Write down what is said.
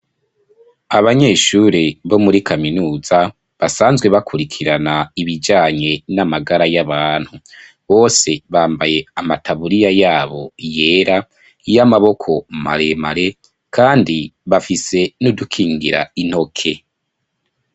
Abanyeshure, bo muri kaminuza, basanzwe bakurikirana ibijanye n'amagara y'abantu, bose bambaye amataburiya yabo, yera, y'amaboko maremare, kandi bafise n'udukingira intoke.